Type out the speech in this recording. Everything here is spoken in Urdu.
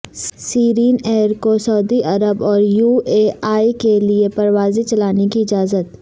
سیرین ایئر کو سعودی عرب اور یو اے ای کے لیے پروازیں چلانے کی اجازت